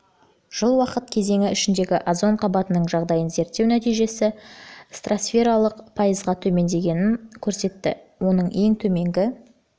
жыл уақыт кезеңі ішіндегі озон қабатының жағдайын зерттеу нәтижесі стратосфералық озон концентрациясының пайызға төмендегендігін көрсетті оның ең төменгі